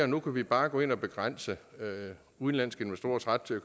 nu kan vi bare gå ind og begrænse udenlandske investorers ret til at